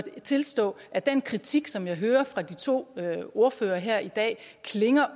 tilstå at den kritik som jeg hører fra de to ordførere her i dag